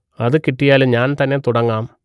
അത് കിട്ടിയാൽ ഞാൻ തന്നെ തുടങ്ങാം